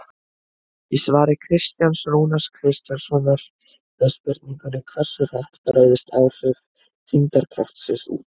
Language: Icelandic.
Í svari Kristjáns Rúnars Kristjánssonar við spurningunni Hversu hratt breiðast áhrif þyngdarkraftsins út?